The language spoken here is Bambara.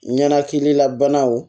Ɲɛnakilila banaw